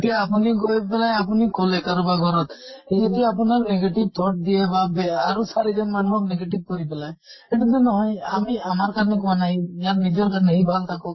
এতিয়া আপুনি গৈ পেলে আপুনি কʼলে কাৰবাৰ ঘৰত। সি যদি আপোনাক negative thought দিয়ে বা বেয়া আৰু চাৰিজন মানুহক negative কৰি পেলায় সেইতোটো নহয়। আমি আমাৰ কাৰণে কোৱা নাই । ইয়াৰ নিজৰ কাৰণে, সি ভাল থাকক।